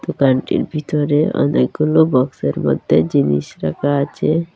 দোকানটির ভিতরে অনেকগুলো বক্সের মধ্যে জিনিস রাখা আছে।